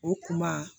O kuma